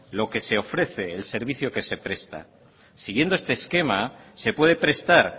lo que se ofrece el servicio que se presta siguiendo este esquema se puede prestar